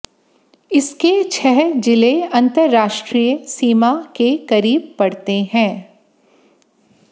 इसके छह जिले अंतरराष्ट्रीय सीमा के करीब पड़ते हैं